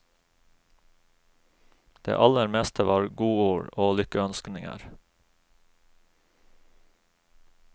Det aller meste var godord og lykkeønskninger.